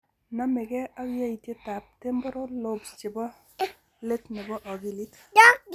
Name gee ak yaitietab temporal lobes chebo let ne bo akilit.